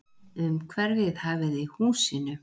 Umhverfið hæfði húsinu.